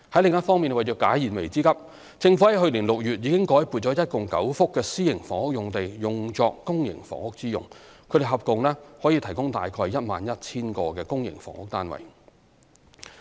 另一方面，為解燃眉之急，政府在去年6月已改撥共9幅私營房屋用地作公營房屋之用，合共可提供約 11,000 個公營房屋單位。